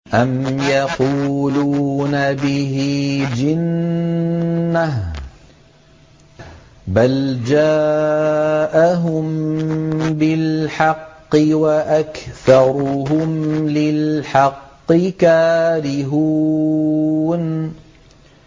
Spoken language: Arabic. أَمْ يَقُولُونَ بِهِ جِنَّةٌ ۚ بَلْ جَاءَهُم بِالْحَقِّ وَأَكْثَرُهُمْ لِلْحَقِّ كَارِهُونَ